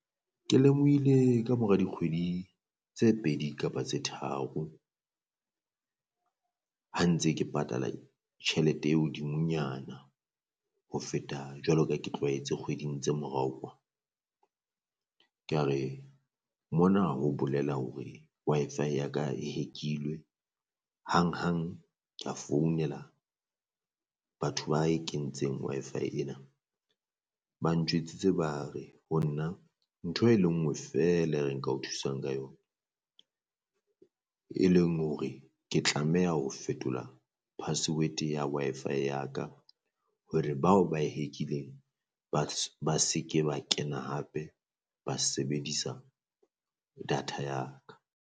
Ke lemohile kamora dikgwedi tse pedi kapa tse tharo ha ntse ke patala tjhelete e hodimonyana ho feta jwalo ka ke tlwaetse kgweding tse morao kwa. Kea re mona ho bolela hore Wi-Fi ya ka e hack-ilwe hang hang ka founela batho ba e kentseng Wi-Fi ena, ba ntjwetsitse ba re ho nna ntho e le ngwe feela e re nka o thusang ka yona. E leng hore ke tlameha ho fetola password ya wi-Fi ya ka hore bao ba e hack-ileng ba ba se ke ba kena hape ba sebedisa data ya ka.